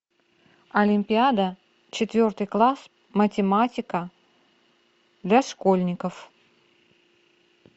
олимпиада четвертый класс математика для школьников